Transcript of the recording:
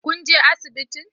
Kun je asibitin?